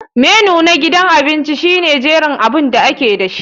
Menu na gidan abinci shine jerin abun da ake dashi.